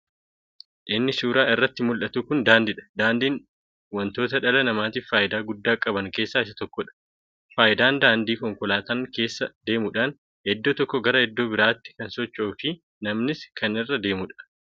Inni suuraa irratti muldhatu kun daandiidha. Daandiin wontoota dhala namaatiif faayidaa guddaa qaban keessa isa tokkoodha. faayidaan daandii konkolataan keessa deemuudhaan iddoo tokkoo garaa iddoo biratti kan socho'u fi namnis kan irra deemuudha.